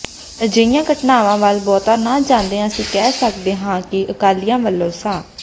ਅਜਿਹੀਆਂ ਘਟਨਾਵਾਂ ਵੱਲ ਬਹੁਤਾ ਨਾ ਜਾਂਦਿਆਂ ਅਸੀਂ ਕਹਿ ਸਕਦੇ ਹਾਂ ਕਿ ਅਕਾਲੀਆਂ ਵੱਲੋਂ ਸ